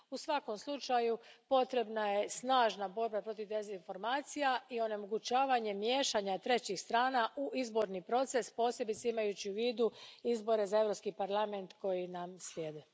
U svakom je slučaju potrebna snažna borba protiv dezinformacija i onemogućavanje miješanja trećih strana u izborni proces, posebice imajući u vidu izbore za Europski parlament koji nam slijede.